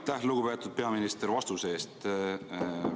Aitäh, lugupeetud peaminister, vastuse eest!